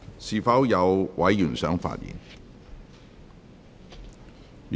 是否有委員想發言？